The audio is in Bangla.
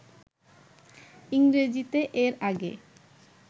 ইংরেজিতে এর আগে